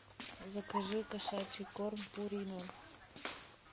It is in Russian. закажи кошачий корм пурина